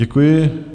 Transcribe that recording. Děkuji.